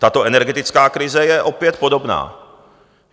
Tato energetická krize je opět podobná.